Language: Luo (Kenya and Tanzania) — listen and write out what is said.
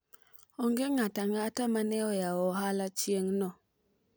onge ng'ato ang'ata mane oyawo ohala chieng' no